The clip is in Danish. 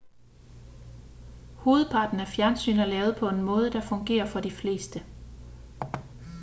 hovedparten af fjernsyn er lavet på en måde der fungerer for de fleste